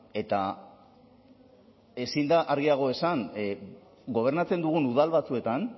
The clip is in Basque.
eta ezin da argiago esan gobernatzen dugun udal batzuetan